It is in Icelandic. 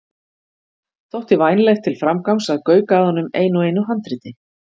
Þótti vænlegt til framgangs að gauka að honum einu og einu handriti.